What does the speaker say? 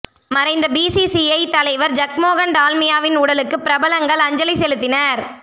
மறைந்த பிசிசிஐ தலைவர் ஜக்மோகன் டால்மியாவின் உடலுக்கு பிரபலங்கள் அஞ்சலி செலுத்தினர்